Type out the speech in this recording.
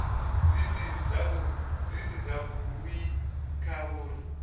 dzi si dzavhui kha uri